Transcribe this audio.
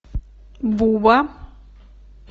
буба